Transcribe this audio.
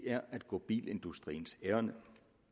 er at gå bilindustriens ærinde